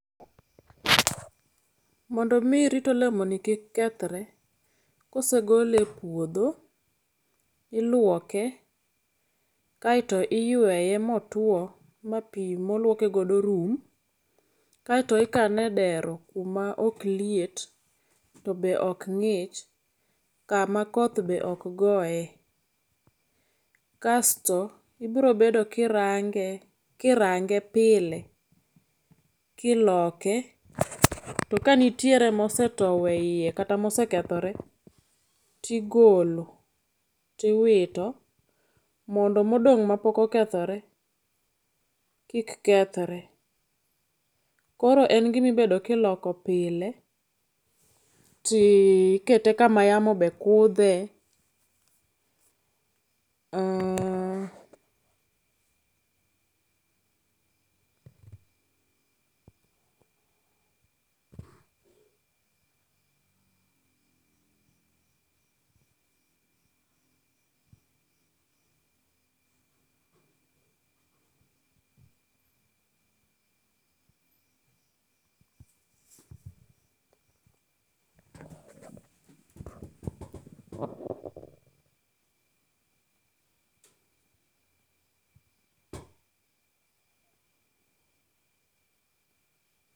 Mondo mi irit olemoni kik kethre kosegole epuodho iluoke kaeto iyweyo motuo mapii moluoke godo rum kato ikane edero kuma ok liet to be ok ng'ich kama koth be ok goye. Kasto ibiro bedo kirange kirange pile kiloke to ka nitiere mosetowo eiye kata mosekethore ti golo tiwito mondo modong' mapok okethore kik kethre. Koro en gima ibedo kiloko pile tikete kama yamo be kudhe aaah......